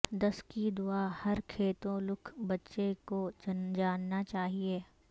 دس کی دعا ہر کیتھولک بچے کو جاننا چاہئے